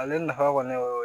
Ale nafa kɔni o ye